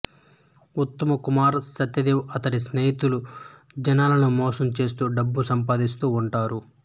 ఉత్తమ్ కుమార్ సత్యదేవ్ అతడి స్నేహితులు జనాలను మోసం చేస్తూ డబ్బు సంపాదిస్తూ ఉంటారు